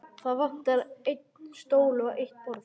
Það vantar einn stól og eitt borð.